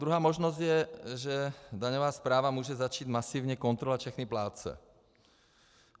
Druhá možnost je, že daňová správa může začít masivně kontrolovat všechny plátce.